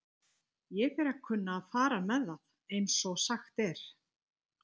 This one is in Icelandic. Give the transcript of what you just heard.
Ég fer að kunna að fara með það, einsog sagt er.